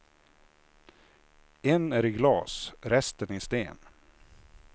En är i glas, resten i sten.